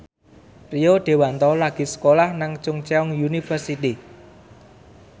Rio Dewanto lagi sekolah nang Chungceong University